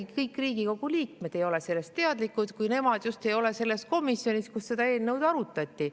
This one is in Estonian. Isegi kõik Riigikogu liikmed ei ole sellest teadlikud, kui nad just ei ole selles komisjonis, kus seda eelnõu arutati.